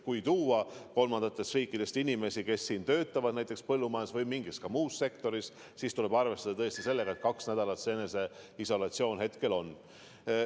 Kui tuua kolmandatest riikidest inimesi, kes siin töötavad näiteks põllumajanduses või ka mingis muus sektoris, siis tuleb arvestada tõesti sellega, et kaks nädalat eneseisolatsiooni praegu kehtib.